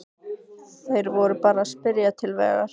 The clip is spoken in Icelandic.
Þeir voru bara að spyrja til vegar.